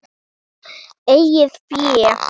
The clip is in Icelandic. Eigið fé